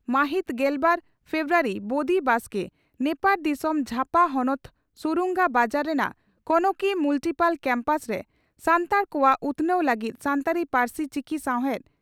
ᱢᱟᱦᱤᱛ ᱜᱮᱞᱵᱟᱨ ᱯᱷᱮᱵᱨᱩᱣᱟᱨᱤ (ᱵᱚᱫᱤ ᱵᱟᱥᱠᱮ) ᱺ ᱱᱮᱯᱟᱲ ᱫᱤᱥᱚᱢ ᱡᱷᱟᱯᱟ ᱦᱚᱱᱚᱛ ᱥᱩᱨᱩᱝᱜᱟ ᱵᱟᱡᱟᱨ ᱨᱮᱱᱟᱜ ᱠᱚᱱᱚᱠᱤ ᱢᱩᱞᱴᱤᱯᱩᱞ ᱠᱮᱢᱯᱟᱥ ᱨᱮ ᱥᱟᱱᱛᱟᱲ ᱠᱚᱣᱟᱜ ᱩᱛᱷᱱᱟᱹᱣ ᱞᱟᱹᱜᱤᱫ ᱥᱟᱱᱛᱟᱲᱤ ᱯᱟᱹᱨᱥᱤ ᱪᱤᱠᱤ ᱥᱟᱶᱦᱮᱫ